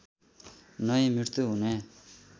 नै मृत्यु हुने